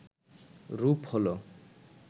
রূপ হল